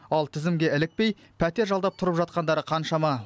ал тізімге ілікпей пәтер жалдап тұрып жатқандары қаншама